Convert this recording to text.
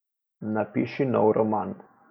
Napiši nov roman.